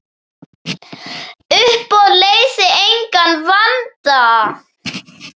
Uppboð leysir engan vanda.